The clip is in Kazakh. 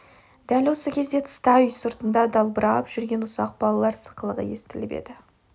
дәл осы кезде тыста үй сыртында дабырлап жүрген ұсақ балалар сықылығы естіліп еді